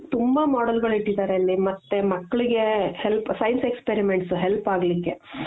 ತುಂಬಾ modelಗಳು ಇಟ್ಟಿದಾರೆ ಅಲ್ಲಿ ಮತ್ತೆ ಮಕ್ಳಿಗೆ help science experiments help ಆಗ್ಲಿಕ್ಕೆ